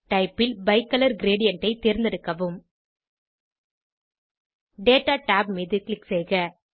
type ல் bicolour gradient ஐ தேர்ந்தெடுக்கவும் டேட்டா tab மீது க்ளிக் செய்க